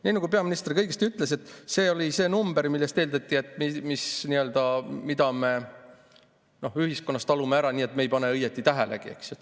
Nii nagu peaminister ütles, see oli see number, mille puhul eeldati, et selle me ühiskonnas talume ära, nii et me ei pane õieti tähelegi.